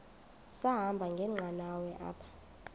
sahamba ngenqanawa apha